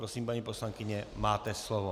Prosím, paní poslankyně, máte slovo.